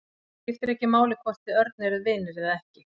Það skiptir ekki máli hvort þið Örn eruð vinir eða ekki.